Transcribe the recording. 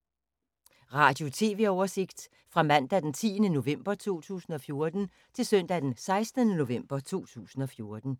Radio/TV oversigt fra mandag d. 10. november 2014 til søndag d. 16. november 2014